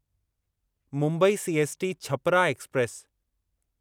Mumbai CST Chhapra express